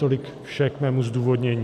Tolik vše k mému zdůvodnění.